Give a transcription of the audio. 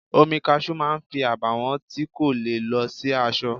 Omi Kaṣú máa fi àbàwọ́n tí kò le lọ sí aṣọ.